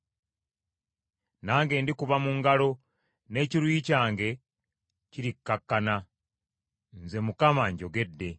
Nange ndikuba mu ngalo, n’ekiruyi kyange kirikkakkana. Nze Mukama njogedde.”